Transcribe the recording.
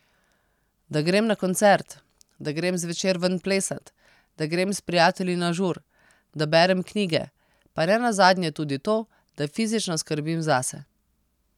Da grem na koncert, da grem zvečer ven plesat, da grem s prijatelji na žur, da berem knjige, pa nenazadnje tudi to, da fizično skrbim zase ...